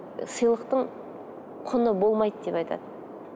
сыйлықтың құны болмайды деп айтады